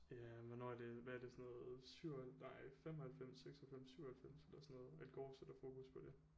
Ja hvornår er det hvad er det sådan noget 7 og nej 95 96 97 eller sådan noget at går sætter fokus på det